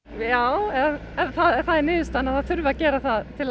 já ef það er niðurstaðan að það þurfi að gera það til